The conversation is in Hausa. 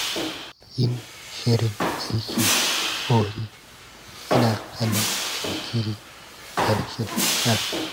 Yin shirin aiki tun da wuri yana hana jinkiri da rashin nasara.